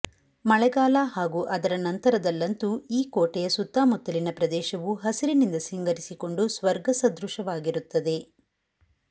ಮಳೆಗಾಲ ಹಾಗೂ ಅದರ ನಂತರದಲ್ಲಂತೂ ಈ ಕೋಟೆಯ ಸುತ್ತಮುತ್ತಲಿನ ಪ್ರದೇಶವು ಹಸಿರಿನಿಂದ ಸಿಂಗರಿಸಿಕೊಂಡು ಸ್ವರ್ಗ ಸದೃಶವಾಗಿರುತ್ತದೆ